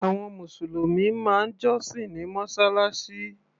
Àwọn mùsùlùmí máa ń jọ́sìn ní mọ́sálásí.